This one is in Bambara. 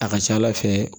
A ka ca ala fɛ